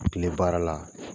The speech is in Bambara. Tile baara la,